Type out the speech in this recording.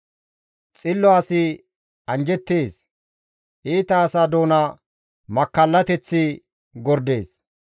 Xillo asi anjjettees; iita asa doona makkallateththi gordees.